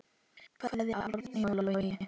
Kveðja, Árný og Logi.